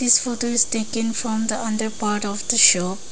This photo is taken from the under part of the shop.